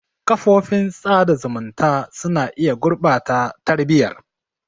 Kafofin sada zumunta suna iya gurɓata tarbiyyar.